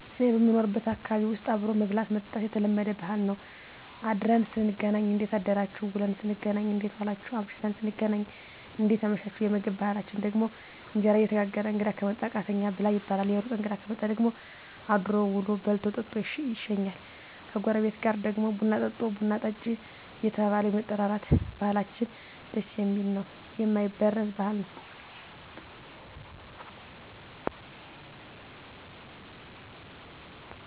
እኔ በምኖርበት ማህበረሰብ ዉስጥ አብሮ መብላት መጠጣት የተለመደ ባህል ነዉ አድረን ስንገናኝ እንዴት አደራችሁ ዉለን ስንገናኝ እንዴት ዋላችሁ አምሽተን ስንገናኝ እንዴት አመሻችሁየምግብ ባህላችን ደግሞ እንጀራ እየተጋገረ እንግዳ ከመጣ ቃተኛ ብላ ይባላል የሩቅ እንግዳ ከመጣ ደግሞ አድሮ ዉሎ በልቶ ጠጥቶ ይሸኛል ከጎረቤት ጋር ደግሞ ቡና ጠጦ ቡና ጠጭ እየተባባለ የመጠራራት ባህላችን ደስ የሚል ነዉ የማይበረዝ ባህል ነዉ